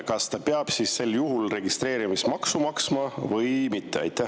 Kas ta peab sel juhul registreerimismaksu maksma või mitte?